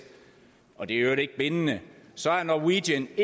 og det er i øvrigt ikke bindende så er norwegian